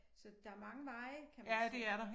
Så der mange veje kan man sige